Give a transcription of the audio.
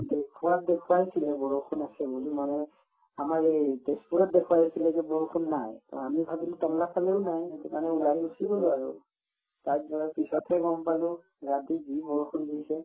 দেখুৱাত দেখুৱাইছিলে বৰষুণ আছে বুলি মানে আমাৰ এই তেজপুৰত দেখুৱাই আছিলে যে বৰষুণ নাই to আমি ভাবিলো টাংলা ফালেও নাই সেইটো কাৰণে ওলাই গুচি গলো আৰু তাত গৈ পিছতহে গম পালো ৰাতি যি বৰষুণ দিছে